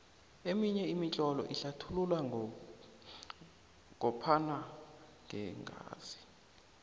eminye imitlolo inlathulula ngophana ngeengazi